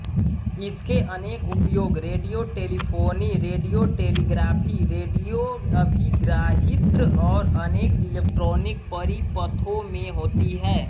इसके अनेक उपयोग रेडियोटेलीफोनी रेडियो टेलीग्राफी रेडियोअभिग्राहित्र और अनेक इलेक्ट्रॉनी परिपथों में होते हैं